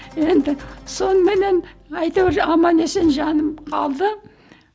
енді соныменен әйтеуір аман есен жаным қалды